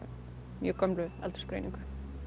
mjög gömlu aldursgreiningu